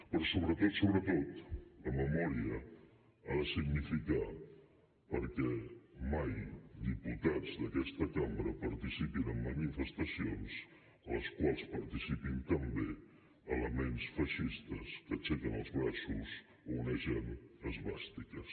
però sobretot sobretot la memòria ha de significar que mai diputats d’aquesta cambra participin en manifestacions en les quals participin també elements feixistes que aixequen els braços i onegen esvàstiques